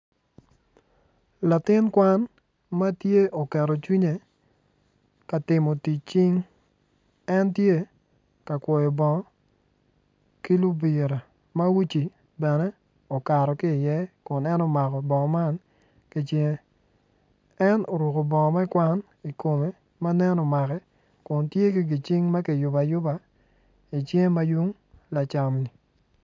Latin kwan ma tye oketo cwinye ka timo tic cing en tye ka kwoyo bongo ma libira ma uci bene okato ki iye kun en omako bongo man ki cinge en oruko bongo me kwan ikome ma nen omake kun tye ki gicing ma kiyubo ayuba icinge ma yung lacam.